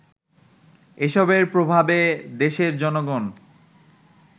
এসবের প্রভাবে দেশের জনগণ